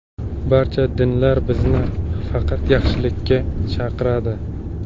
Barcha dinlar bizni faqat yaxshilikka chaqiradi.